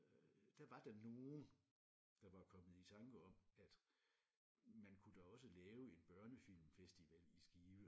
Øh der var der nogen der var kommet i tanke om at man kunne da også lave en børnefilmfestival i Skive